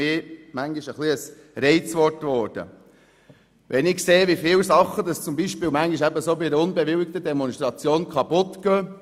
Diese Begriffe sind für mich etwas zu Reizwörtern geworden, wenn ich sehe, wie viele Dinge manchmal bei solchen unbewilligten Demonstrationen kaputtgehen.